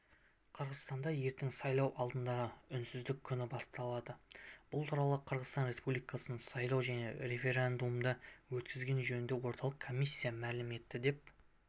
қырғызстанда ертең сайлау алдындағы үнсіздік күні басталады бұл туралы қырғызстан республикасының сайлау және референдумдар өткізу жөніндегі орталық комиссиясы мәлім етті деп